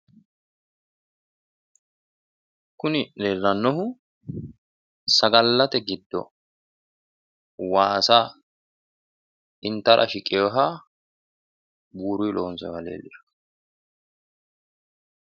kuni leellanohu sagallate giddo waasa intara shiqinshoonniha buurunni lonsooniha leellishanno.